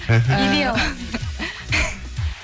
илей аламын